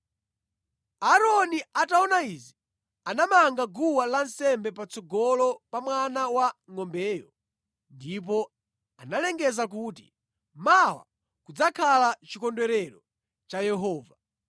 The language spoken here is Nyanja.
Aaroni ataona izi, anamanga guwa lansembe patsogolo pa mwana wangʼombeyo ndipo analengeza kuti, “Mawa kudzakhala chikondwerero cha Yehova.”